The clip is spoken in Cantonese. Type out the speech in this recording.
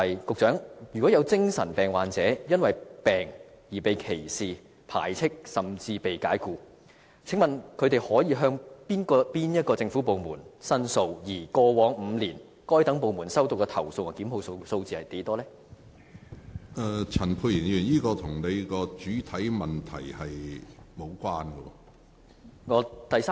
局長，如果有精神病患者，因為患病而被歧視、排斥，甚至被解僱，請問他們可以向哪些政府部門申訴，而過往5年，該等部門收到的投訴和作出檢控的個案是多少？